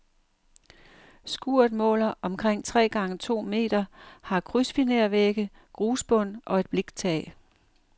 Skuret måler omkring tre gange to meter, har krydsfinervægge, grusbund og et bliktag.